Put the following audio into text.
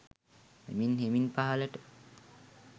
හෙමින් හෙමින් පහළට